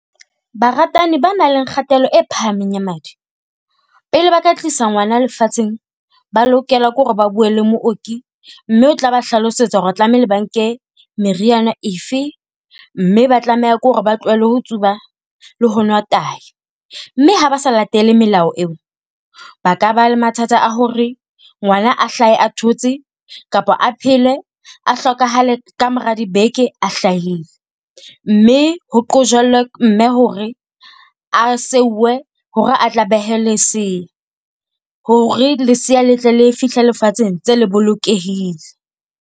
Baratani ba nang le kgatello e phahameng ya madi, pele ba ka tlisa ngwana lefatsheng ba lokela ke hore ba buwe le mooki mme o tla ba hlalosetsa hore tlameile ba nke meriana efe, mme ba tlameha ke hore ba tlohele ho tsuba le ho nwa tai. Mme ha ba sa latele melao eo, ba ka ba le mathata a hore ngwana a hlahe a thotse kapa a phele a hlokahale ka mora dibeke a hlahile. Mme ho qojellwe mme hore a seuwe hore a tla behe lesea, hore lesea le tle le fihle lefatsheng ntse le bolokehile.